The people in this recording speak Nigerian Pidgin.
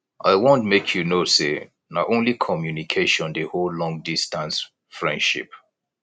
i want make you know sey na only communication dey hold longdistance friendship